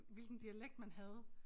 Hvilken dialekt man havde